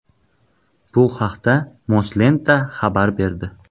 Bu haqda Moslenta xabar berdi .